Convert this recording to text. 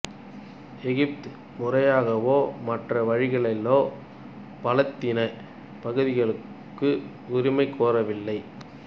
எகிப்து முறையாகவோ மற்ற வழிகளிலோ பலத்தீன பகுதிகளுக்கு உரிமை கோரவில்லை